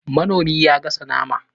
Manomi ya gasa naman